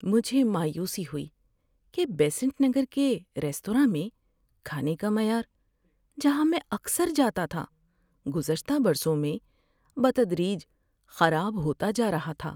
مجھے مایوسی ہوئی کہ بیسنٹ نگر کے ریستوراں میں کھانے کا معیار، جہاں میں اکثر جاتا تھا، گزشتہ برسوں میں بتدریج خراب ہوتا جا رہا تھا۔